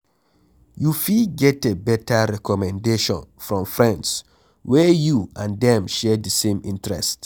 You fit getter better recommendation from friends wey you and dem share di same interest